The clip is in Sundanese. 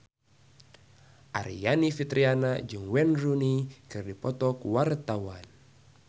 Aryani Fitriana jeung Wayne Rooney keur dipoto ku wartawan